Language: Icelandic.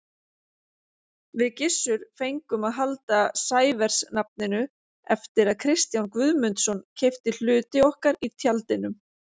Við Gissur fengum að halda Sævers-nafninu eftir að Kristján Guðmundsson keypti hluti okkar í Tjaldinum.